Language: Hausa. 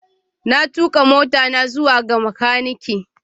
Na tuka motata zuwa ga makaniki.